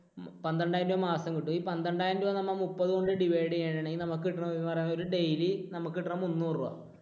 പന്ത്രണ്ടായിരം രൂപ മാസം കിട്ടും. ഈ പന്ത്രണ്ടായിരം രൂപ നമ്മൾ മുപ്പത് കൊണ്ട് divide ചെയ്യുകയാണെങ്കിൽ നമുക്ക് daily നമുക്ക് കിട്ടുന്നത് മുന്നൂറു രൂപ.